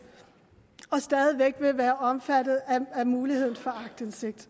og det stadig væk vil være omfattet af muligheden for aktindsigt